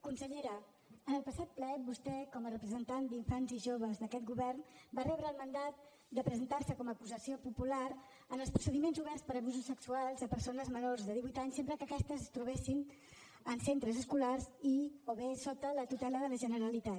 consellera en el passat ple vostè com a representant d’infants i joves d’aquest govern va rebre el mandat de presentar se com a acusació popular en els procediments oberts per abusos sexuals a persones menors de divuit anys sempre que aquestes es trobessin en centres escolars i o bé sota la tutela de la generalitat